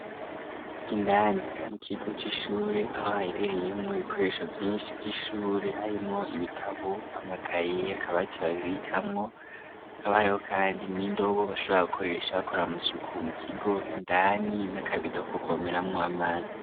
Indani mu kigo c'ishure aho hahereyemwo ibikoresho vyinshi y'ishure ,harimwo ibitabo, amakayi, akabati babikamwo, hakaba reRo kandi n'indobo bashobora ga gukoresha bakora amasuku ,mu kigo indani n'akabido kuvomeramwo amazi.